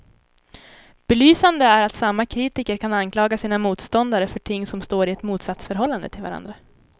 Belysande är att samma kritiker kan anklaga sina motståndare för ting som står i ett motsatsförhållande till varandra.